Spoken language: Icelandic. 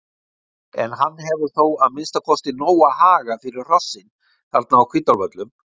En hann hefur þó að minnsta kosti nóga haga fyrir hrossin þarna á Hvítárvöllum.